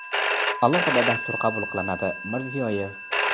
alohida dastur qabul qilinadi – Mirziyoyev.